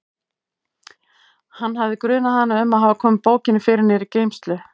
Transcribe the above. Hann hafði grunað hana um að hafa komið bókinni fyrir niðri í geymslu.